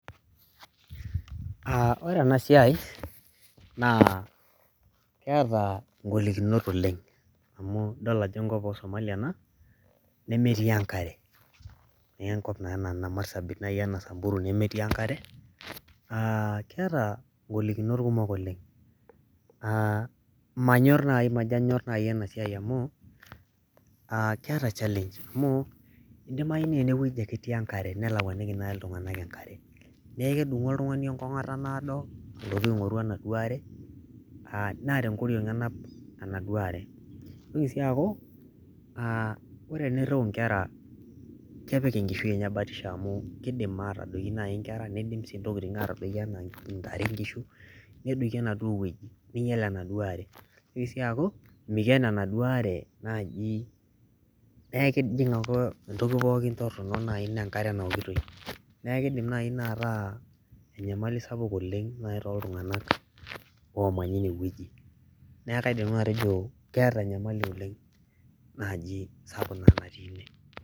aa ore ena siai, naa keta ngolinot oelng. amu idol ajo enkop oosomali ena. nemetii enkare, neee enkop ena anaa marsabit samburu nemetii enkare, aa keeta ng'olikinot kumok oleng'.aa manyor naaji majo naji ena siai amu, keeta challenge amu idimayu naa ene wueji ake etii enkare, nelakuaniki naaji iltunganak, enkare. neeku kedung'u oltungani enkong'ota naado. alotu aing'oru ena are, naa tenkoriong' enapa enaduo are. itoki sii aaku ore eniriu nkera, kepik enkisui enye batisho amu kidim aatadoiki naji nkere, nidim sii ntokitin aatadoiki anaa ntare, anaa nkishu. nedoiki enaduo wueji. ning'iel enaduoo are, nitoki sii aku mikeno enaduoo are, naaji neeku kejing' ake duo entoki torono naaji naa enkare naokitoi. neeku kidim ina naaji ataa enyamali sapuk tooltunganak omanya ine weuji. neeku kaidim nanu atejo keeta enyamali sapuk oleng naji natii ine.